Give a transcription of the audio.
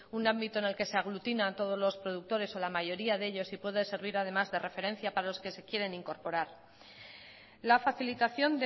un ámbito en el que se aglutina todos los productores o la mayoría de ellos y puede servir además de referencia para los que se quieren incorporar la facilitación